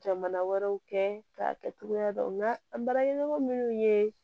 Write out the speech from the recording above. Jamana wɛrɛw kɛ k'a kɛ cogoya dɔn an baraɲɔgɔn minnu ye